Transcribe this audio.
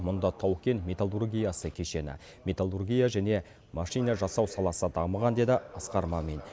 мұнда тау кен металлургиясы кешені металлургия және машина жасау саласы дамыған деді асқар мамин